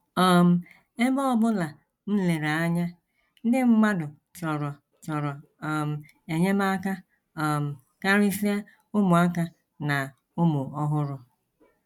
“ um Ebe ọ bụla m lere anya, ndị mmadụ chọrọ chọrọ um enyemaka um karịsịa ụmụaka na ụmụ ọhụrụ.